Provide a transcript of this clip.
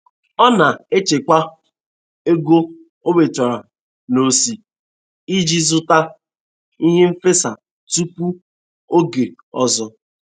Ọ na-echekwa ego o nwetara n'ose iji zụta ihe nfesa tupu oge ọzọ